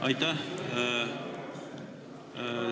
Aitäh!